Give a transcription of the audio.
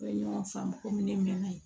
U ye ɲɔgɔn faamu komi ne mɛn'a ye